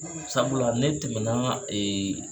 Sabula ne tɛmɛna